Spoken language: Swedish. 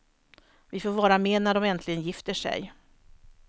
Vi får vara med när de äntligen gifter sig.